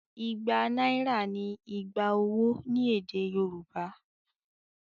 Igba náírà ni "igba owó" ní èdè Yorùbá.